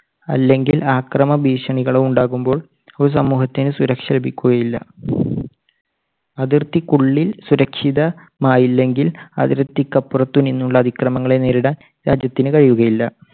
അല്ലെങ്കിൽ ആക്രമ ഭീഷണികളോ ഉണ്ടാകുമ്പോൾ ഒരു സമൂഹത്തിന് സുരക്ഷ ലഭിക്കുകയില്ല. അതിർത്തിക്കുള്ളിൽ സുരക്ഷിതമായില്ലെങ്കിൽ അതിർത്തിക്കപ്പുറത്ത് നിന്നുള്ള അതിക്രമങ്ങൾ നേരിടാൻ രാജ്യത്തിന് കഴിയുകയില്ല.